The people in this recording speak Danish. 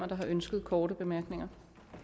der har ønsket korte bemærkninger